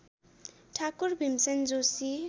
Thakur Bhimsen Joshi